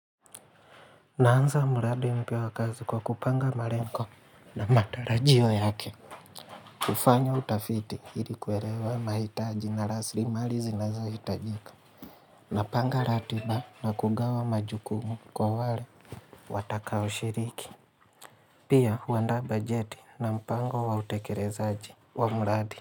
Naanza mradi mpya wa kazi kwa kupanga malengo na matarajio yake. Kufanya utafiti ili kuelewa mahitaji na rasilimali zinazohitajika. Napanga ratiba na kugawa majukumu kwa wale watakao shiriki. Pia huandaa bajeti na mpango wa utekelezaji wa mradi.